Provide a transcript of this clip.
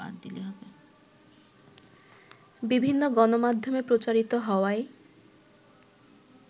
বিভিন্ন গণমাধ্যমে প্রচারিত হওয়ায়